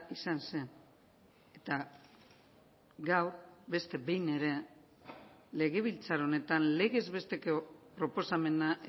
izan zen eta gaur beste behin ere legebiltzar honetan legezbesteko proposamena